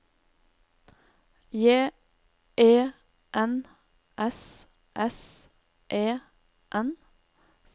J E N S S E N